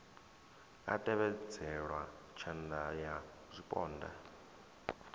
a tevhedzelwa tshatha ya zwipondwa